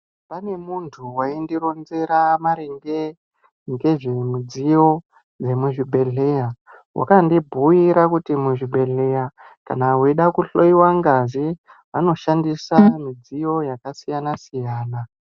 Pane munhu waindironzera maringe ngezvemidziyo inoshandiswa muzvibhedhlera. Wakandibhuira kuti muzvibhedhlera kana uchida kuhloyiwa ngazi vanoshandisa midziyo yakasiyana siyana.